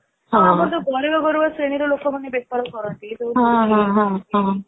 ଆମର ଯୋଉ ଗରିବ ଗୁରୁବା ଶ୍ରେଣୀର ଲୋକମାନେ ବେପାର କରନ୍ତି